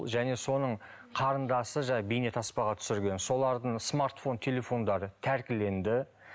және соның қарындасы жаңағы бейнетаспаға түсірген солардың смартфон телефондары тәркіленді